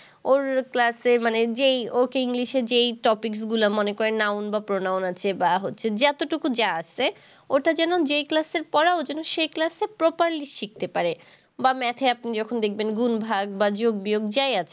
ওর class মানে যেই ওকে english যেই topics গুলা, মনে করেন noun বা pronoun আছে বা হচ্ছে যতটুকু যা আছে, ওটা যেন যে class এর পড়া ও যেন সেই class এ properly শিখতে পারে, বা math এ আপনি যখন দেখবেন গুণ-ভাগ বা যোগ-বিয়োগ যাই আছে